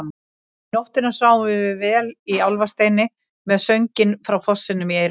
Um nóttina sváfum við vel í Álfasteini með sönginn frá fossinum í eyrunum.